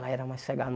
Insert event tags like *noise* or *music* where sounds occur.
Lá era mais *unintelligible*